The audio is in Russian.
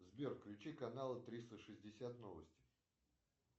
сбер включи канал триста шестьдесят новости